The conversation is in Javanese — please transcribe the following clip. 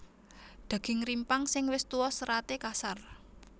Daging rimpang sing wis tuwa seraté kasar